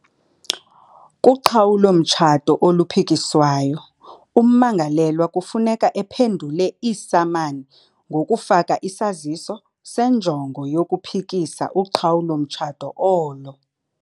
Kuqhawulo-mtshato oluphikiswayo, ummangalelwa kufuneka ephendule iisamani ngokufaka isaziso senjongo yokuphikisa uqhawulo-mtshato olo.